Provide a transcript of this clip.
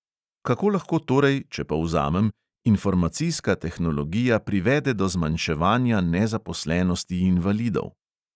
Kako lahko torej, če povzamem, informacijska tehnologija privede do zmanjševanja nezaposlenosti invalidov?